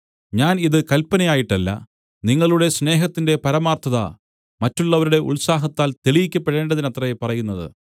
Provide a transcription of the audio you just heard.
ഞാൻ ഇത് കല്പനയായിട്ടല്ല നിങ്ങളുടെ സ്നേഹത്തിന്റെ പരമാർത്ഥത മറ്റുള്ളവരുടെ ഉത്സാഹത്താൽ തെളിയിക്കപ്പെടേണ്ടതിനത്രേ പറയുന്നത്